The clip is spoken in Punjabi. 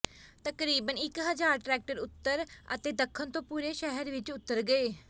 ਤਕਰਬੀਨ ਇੱਕ ਹਜ਼ਾਰ ਟਰੈਕਟਰ ਉੱਤਰ ਅਤੇ ਦੱਖਣ ਤੋਂ ਪੂਰੇ ਸ਼ਹਿਰ ਵਿੱਚ ਉਤਰ ਗਏ